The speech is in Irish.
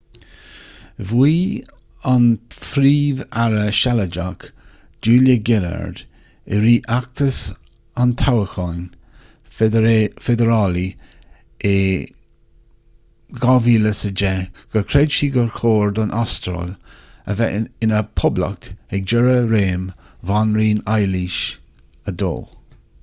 mhaígh an príomh-aire sealadach julia gillard i rith fheachtas an toghcháin feidearálaigh in 2010 gur chreid sí gur chóir don astráil a bheith ina poblacht ag deireadh réim bhanríon éilis ii